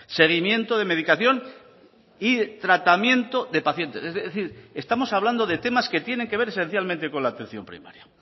seguimiento de medicación y tratamiento de pacientes es decir estamos hablando de temas que tienen que ver esencialmente con la atención primaria